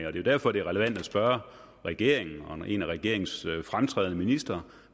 er jo derfor det er relevant at spørge regeringen og en af regeringens fremtrædende ministre